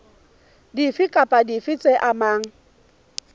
dife kapa dife tse amanang